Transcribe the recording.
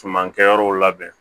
Suman kɛyɔrɔw labɛn